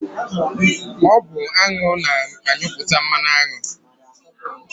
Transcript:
Ọ bụ aṅụ na-anyụpụta mmanụaṅụ.